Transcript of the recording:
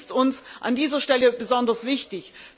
Das ist uns an dieser Stelle besonders wichtig.